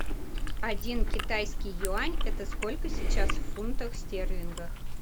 один китайский юань это сколько сейчас в фунтах стерлингов